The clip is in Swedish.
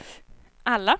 alla